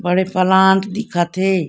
बड़े पलांट दिखत हे।